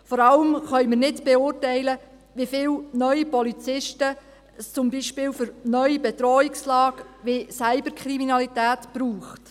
Vor allem können wir nicht beurteilen, wie viele neue Polizisten es zum Beispiel für neue Bedrohungslagen wie Cyberkriminalität braucht.